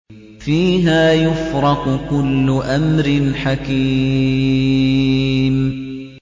فِيهَا يُفْرَقُ كُلُّ أَمْرٍ حَكِيمٍ